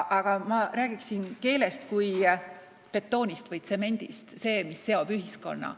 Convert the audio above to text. Aga ma räägiksingi keelest kui betoonist või tsemendist, mis seob ühiskonna.